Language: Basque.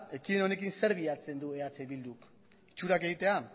ekimen honekin zer bilatzen du eh bilduk itxurak egitea